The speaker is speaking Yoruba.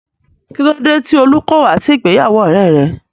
Kílódé tí Olú kò wá sí ìgbéyàwó ọ̀rẹ́e rẹ̀?